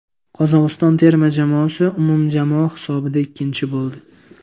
Qozog‘iston terma jamoasi umumjamoa hisobida ikkinchi bo‘ldi.